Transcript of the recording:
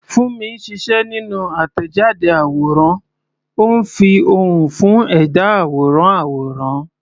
Funmi ń ṣiṣẹ́ nínú àtẹ̀jáde àwòrán, ó ń fi ohùn fún ẹ̀dá àwòrán àwòrán.